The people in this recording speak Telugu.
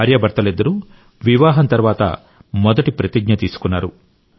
భార్యాభర్తలిద్దరూ వివాహం తర్వాత మొదటి ప్రతిజ్ఞ తీసుకున్నారు